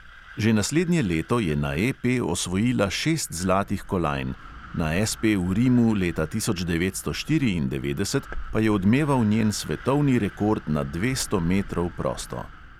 Že naslednje leto je na EP osvojila šest zlatih kolajn, na SP v rimu leta devetnajststo štiriindevetdeset pa je odmeval njen svetovni rekord na dvesto metrov prosto.